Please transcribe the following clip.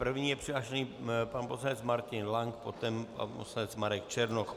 První je přihlášen pan poslanec Martin Lank, poté pan poslanec Marek Černoch.